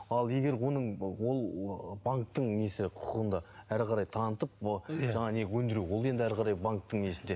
ал егер оның ол банктің несі құқығында әрі қарай танытып өндіру ол енді әрі қарай банктің несінде